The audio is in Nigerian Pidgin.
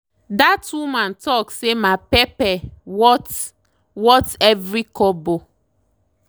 that woman talk say my pepper worth worth every kobo.